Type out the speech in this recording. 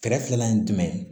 Kɛrɛfɛlan ye jumɛn ye